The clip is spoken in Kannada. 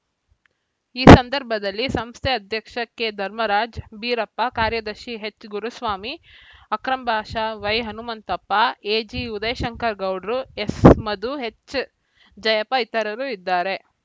ಈ ಸಂದರ್ಭದಲ್ಲಿ ಸಂಸ್ಥೆ ಅಧ್ಯಕ್ಷ ಕೆಧರ್ಮರಾಜ ಬೀರಪ್ಪ ಕಾರ್ಯದರ್ಶಿ ಎಚ್‌ಗುರುಸ್ವಾಮಿ ಅಕ್ರಂಬಾಷಾ ವೈಹನುಮಂತಪ್ಪ ಎಜಿಉದಯಶಂಕರ ಗೌಡ್ರು ಎಸ್‌ಮಧು ಎಚ್‌ಜಯಪ್ಪ ಇತರರು ಇದ್ದಾರೆ